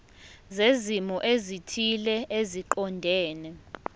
zezimo ezithile eziqondene